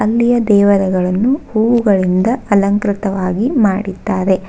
ಇಲ್ಲಿಯ ದೇವರುಗಳನ್ನು ಹೂಗಳಿಂದ ಅಲಂಕೃತವಾಗಿ ಮಾಡಿದ್ದಾರೆ.